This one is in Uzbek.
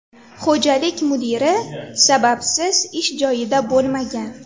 Xo‘jalik mudiri sababsiz ish joyida bo‘lmagan.